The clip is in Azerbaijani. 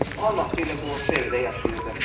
O anası ilə qonşu evdə yaşayırdı.